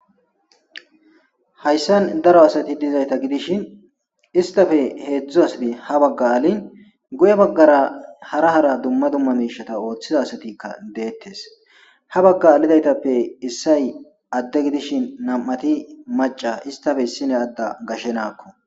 Hayssan daro asati diza giddishin issitape hedzdzu asati ha baggan hara hara dumma dumma mishatara oththida asatika detes.ha bagga adhdhida etape issay adde gidishin nam'ati maca gidiza gashe na'ako